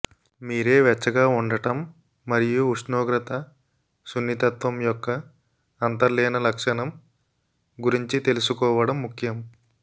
మీరే వెచ్చగా ఉండటం మరియు ఉష్ణోగ్రత సున్నితత్వం యొక్క అంతర్లీన లక్షణం గురించి తెలుసుకోవడం ముఖ్యం